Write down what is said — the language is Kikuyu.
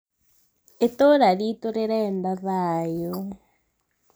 itũũra ritu rĩrenda thaayũ